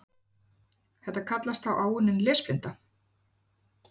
Þetta kallast þá áunnin lesblinda.